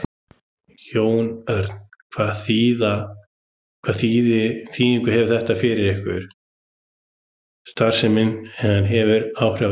Jón Örn: Hvaða þýðingu hefur þetta fyrir ykkar starfsemi, hefur þetta áhrif á ykkur?